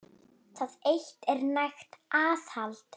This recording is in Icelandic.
Það eitt er nægt aðhald.